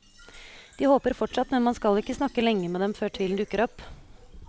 De håper fortsatt, men man skal ikke snakke lenge med dem før tvilen dukker opp.